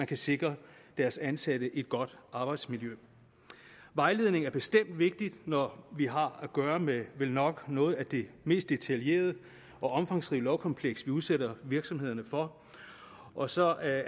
kan sikre deres ansatte et godt arbejdsmiljø vejledning er bestemt vigtigt når vi har at gøre med vel nok noget af det mest detaljerede og omfangsrige lovkompleks vi udsætter virksomhederne for og så er